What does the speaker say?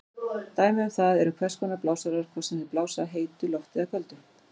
Dæmi um það eru hvers konar blásarar, hvort sem þeir blása heitu lofti eða köldu.